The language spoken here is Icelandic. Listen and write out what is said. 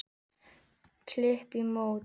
Klíp á móti.